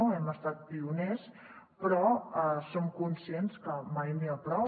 hi hem estat pioners però som conscients que mai n’hi ha prou